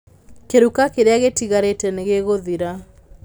Kĩruka kĩrĩa gĩtigarĩte nĩ gĩgũthira.